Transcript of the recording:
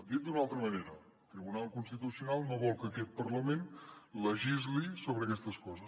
dit d’una altra manera el tribunal constitucional no vol que aquest parlament legisli sobre aquestes coses